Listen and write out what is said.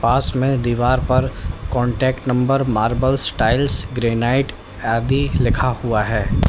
पास में दीवार पर contact number marbles tiles granite आदि लिखा हुआ है।